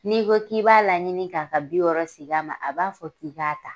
N'i ko k'i b'a laɲini ka ka bi wɔɔrɔ segin a ma ,a b'a fɔ k'i k'a ta.